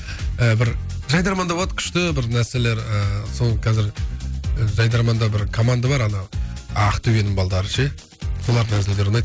ы бір жайдарманда болады күшті бір нәрселер ыыы сол қазір жайдарманда бір команда бар ана ақтөбенің балдары ше солардың әзілдері ұнайды